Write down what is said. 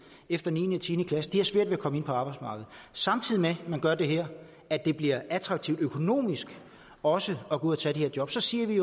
efter niende og tiende klasse de har svært ved at komme ind på arbejdsmarkedet samtidig med at man gør det her at det bliver attraktivt økonomisk også at gå ud og tage de her job så siger vi